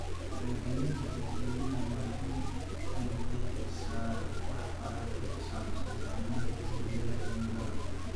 Wacyigelinta dadweynaha waa in ay bixisaa waxbarasho ku saabsan saamaynta isbeddelka cimilada.